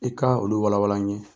I ka olu walawala an ye